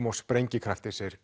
og sprengikrafti segir